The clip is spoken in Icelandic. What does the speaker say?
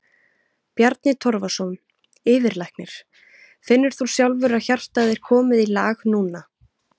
Bjarni Torfason, yfirlæknir: Finnur þú sjálfur að hjartað er komið í lag núna?